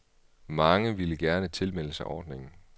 Mange ville gerne tilmelde sig ordningen.